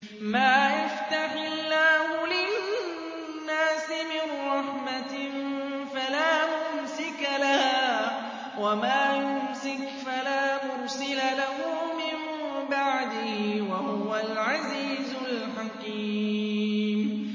مَّا يَفْتَحِ اللَّهُ لِلنَّاسِ مِن رَّحْمَةٍ فَلَا مُمْسِكَ لَهَا ۖ وَمَا يُمْسِكْ فَلَا مُرْسِلَ لَهُ مِن بَعْدِهِ ۚ وَهُوَ الْعَزِيزُ الْحَكِيمُ